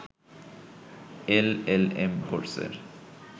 LLM কোর্সের